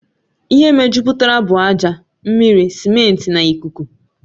Ihe mejupụtara bụ ájá, mmiri, simenti na ikuku